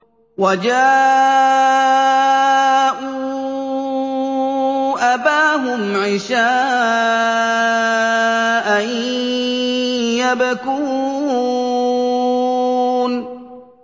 وَجَاءُوا أَبَاهُمْ عِشَاءً يَبْكُونَ